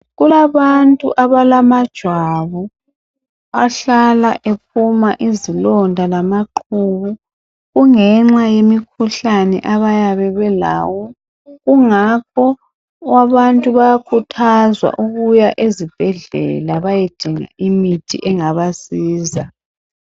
Kulabantu abalamajwabu ahlala ephuma izilonda lamaqhubu kungenxa yemikhuhlane abayabe belawo Kungakho abantu bayakhuthazwa ukuya ezibhedlela bayedinga imithi engabasiza